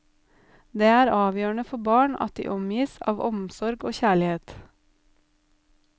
Det er avgjørende for barn at de omgis av omsorg og kjærlighet.